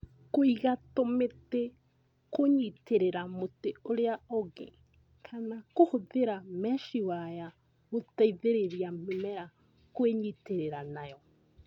Kũiga tũmĩtĩ kũnyitĩrĩra mũtĩ ũrĩa ũngĩ kana kũhũthĩra mechi waya gũteithĩrĩria mĩmera kwĩnyitĩrĩra nayo